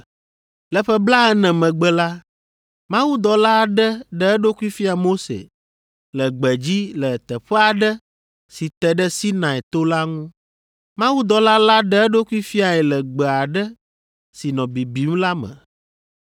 “Le ƒe blaene megbe la, mawudɔla aɖe ɖe eɖokui fia Mose le gbedzi le teƒe aɖe si te ɖe Sinai to la ŋu. Mawudɔla la ɖe eɖokui fiae le gbe aɖe si nɔ bibim la me.